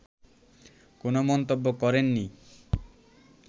কোনো মন্তব্য করেননি